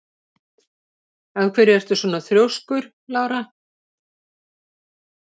Af hverju ertu svona þrjóskur, Lára?